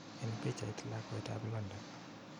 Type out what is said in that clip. En pichait, lakwet ap London